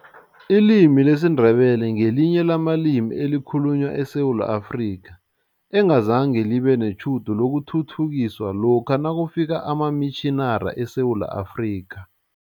Ilimi lesiNdebele ngelinye lamalimi ekhalunywa eSewula Afrika, engazange libe netjhudu lokuthuthukiswa lokha nakufika amamitjhinari eSewula Afrika.